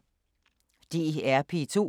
DR P2